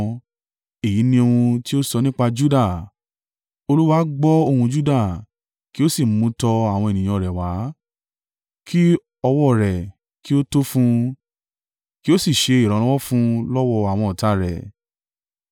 Èyí ni ohun tí ó sọ nípa Juda: “Olúwa gbọ́ ohùn Juda kí o sì mú tọ àwọn ènìyàn rẹ̀ wá. Kí ọwọ́ rẹ̀ kí ó tó fún un, kí ó sì ṣe ìrànlọ́wọ́ fún lọ́wọ́ àwọn ọ̀tá rẹ̀!”